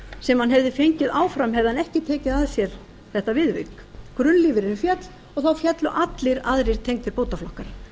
sem hann hefði fengið áfram hefði hann ekki tekið að sér þetta viðvik grunnlífeyririnn féll og þá féllu allir aðrir tengdir bótaflokkar